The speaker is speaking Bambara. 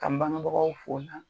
K' an bangɛbagaw fo na